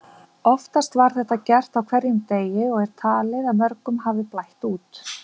Oftast var þetta gert á hverjum degi og er talið að mörgum hafi blætt út.